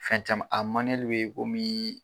Fɛn caman a w ye komii